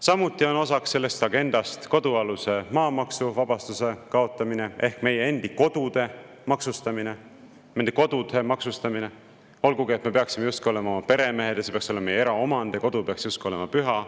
Samuti on osaks sellest agendast kodualuse maa maksuvabastuse kaotamine ehk meie endi kodude maksustamine, olgugi et me peaksime justkui olema peremehed ja see peaks olema meie eraomand ja kodu peaks justkui olema püha.